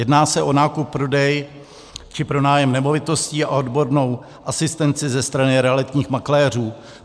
Jedná se o nákup, prodej či pronájem nemovitostí a o odbornou asistenci ze strany realitních makléřů.